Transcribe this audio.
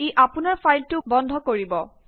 ই আপোনাৰ ফাইলটো বন্ধ কৰিব